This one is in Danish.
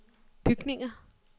bygninger